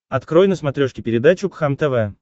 открой на смотрешке передачу кхлм тв